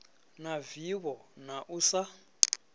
na vivho na u sa